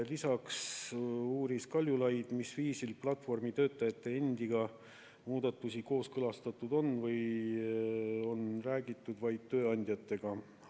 Lisaks uuris Kaljulaid, mil viisil on platvormitöötajate endiga muudatusi kooskõlastatud või kas on räägitud vaid tööandjatega.